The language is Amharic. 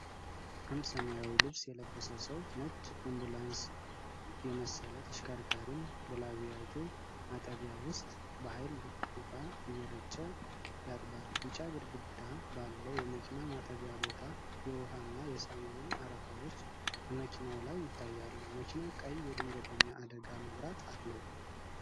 አንድ ሰማያዊ ልብስ የለበሰ ሰው ነጭ አምቡላንስ የመሰለ ተሽከርካሪን በላቢያጆ ማጠቢያ ውስጥ በኃይል ውሃ እየረጨ ያጥባል። ቢጫ ግድግዳ ባለው የመኪና ማጠቢያ ቦታ የውሃና የሳሙና አረፋዎች በመኪናው ላይ ይታያሉ። መኪናው ቀይ የድንገተኛ አደጋ መብራት አለው።